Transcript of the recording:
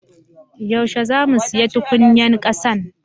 Yaushe zamu siya tukunyan kassan?